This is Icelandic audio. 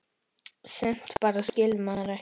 Sumt bara skilur maður ekki.